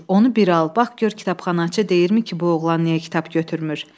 Onu bir al, bax gör kitabxanaçı deyirmi ki, bu oğlan niyə kitab götürmür?